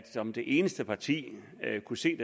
som det eneste parti at kunne se